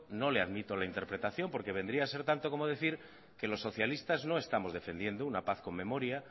no le admito la interpretación porque vendría a ser tanto como decir que los socialistas no estamos defendiendo una paz con memoria